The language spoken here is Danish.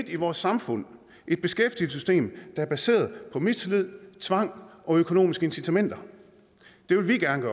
i vores samfund et beskæftigelsessystem der er baseret på mistillid tvang og økonomiske incitamenter det vil vi gerne